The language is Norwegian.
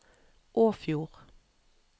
Åfjord